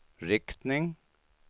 riktning